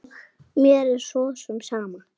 Mér er svo sem sama.